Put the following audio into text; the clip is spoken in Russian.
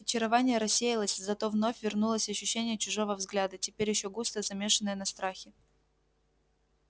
очарование рассеялось зато вновь вернулось ощущение чужого взгляда теперь ещё густо замешенное на страхе